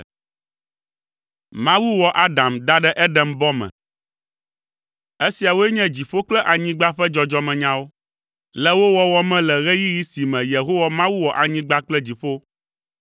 Esiawoe nye dziƒo kple anyigba ƒe dzɔdzɔmenyawo, le wo wɔwɔ me le ɣeyiɣi si me Yehowa Mawu wɔ anyigba kple dziƒo.